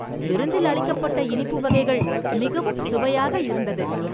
விருந்தில் அளிக்கப்பட்ட இனிப்பு வகைகள் மிகவும் சுவையாக இருந்தது